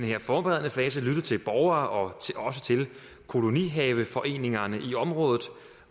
her forberedende fase lyttet til borgerne og også til kolonihaveforeningerne i området